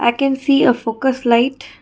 i can see a focus light.